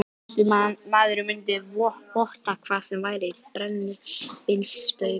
Þessi maður mundi votta hvað sem væri fyrir brennivínsstaup